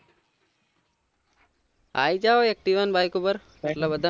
આયી જાવ activa ને bike ઉપર એટલે બધા